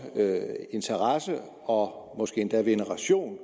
interesse og måske endda veneration